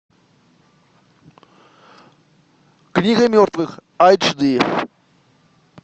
книга мертвых айч ди